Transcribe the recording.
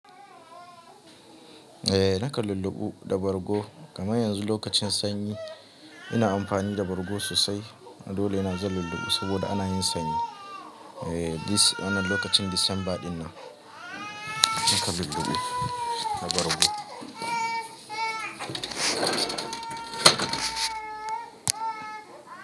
Eh nakan lulluɓe da bargo kaman yanzu lokacin sanyi ina amfani da bargo sosai dole na zan lulluɓe saboda ana yin sanyi. Eh this wannan lokacin Disamba dinnan nakan lulluɓe da bargo.